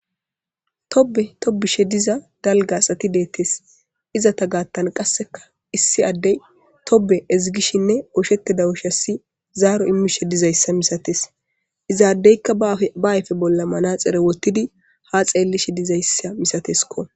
Tobe tobishshe dizza dalgga asati dizza asati bettes iza sinthanikka issi adde tobbe ezigesheninne zaro imishshen dizayissa misaththes iza adde ba ayippe bolla maraxinne woththidi ha xelishshen dizayissa milaththeskko.